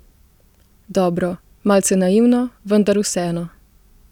Dobro, malce naivno, vendar vseeno.